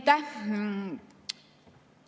Aitäh!